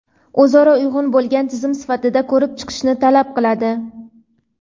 o‘zaro uyg‘un bo‘lgan tizim sifatida ko‘rib chiqishni talab qiladi.